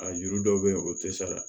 A juru dɔw bɛ yen o tɛ sara